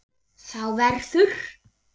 Þá verður